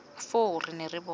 foo re ne ra bona